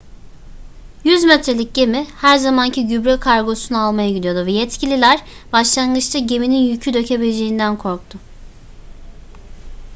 100 metrelik gemi her zamanki gübre kargosunu almaya gidiyordu ve yetkililer başlangıçta geminin yükü dökebileceğinden korktu